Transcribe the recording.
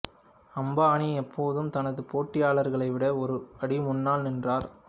அம்பானி எப்போதும் தனது போட்டியாளர்களை விட ஒரு அடி முன்னால் நின்றார்